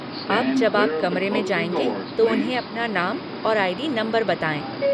अब, जब आप कमरे में जाएँगे तो उन्हें अपना नाम और आई.डी. नम्बर बताएँ।